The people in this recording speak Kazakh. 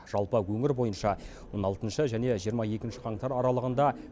жалпы өңір бойынша он алтыншы және жиырма екінші қаңтар аралығында